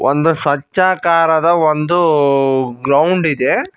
ಒಂದು ಸ್ವಚ್ಚಾಕಾರದ ಒಂದು ಗ್ರೌಂಡ್ ಇದೆ.